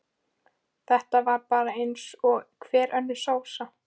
Þetta var bara eins og hver önnur sósa.